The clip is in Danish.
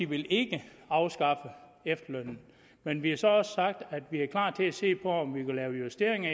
vil ikke afskaffe efterlønnen men vi har så også sagt at vi er klar til at se på om vi kunne lave justeringer i